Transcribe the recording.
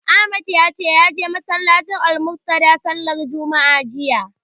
Ahmad ya ce ya je masallacin Almuntadha sallar juma'a jiya.